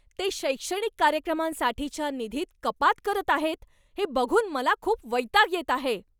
ते शैक्षणिक कार्यक्रमांसाठीच्या निधीत कपात करत आहेत हे बघून मला खूप वैताग येत आहे.